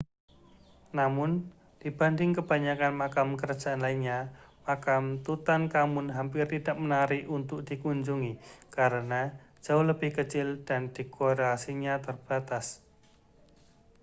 namun dibanding kebanyakan makam kerajaan lainnya makam tutankhamun hampir tidak menarik untuk dikunjungi karena jauh lebih kecil dan dekorasinya terbatas